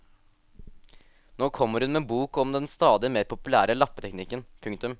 Nå kommer hun med bok om den stadig mer populære lappeteknikken. punktum